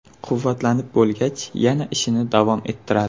Quvvatlanib bo‘lgach yana ishini davom ettiradi.